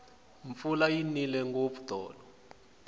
mpfula yi nile ngopfu tolo